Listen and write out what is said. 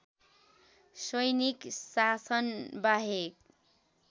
सैनिक शासनबाहेक